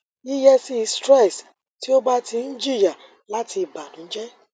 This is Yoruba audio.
yiyesi stress ti o ba ti n jiya lati ibanujẹ